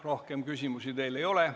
Rohkem küsimusi teile ei ole.